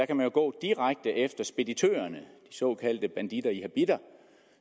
kan man gå direkte efter speditørerne de såkaldte banditter i habitter